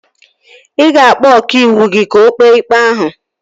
Ị ga-akpọ ọkàiwụ gị ka o kpee ikpe ahụ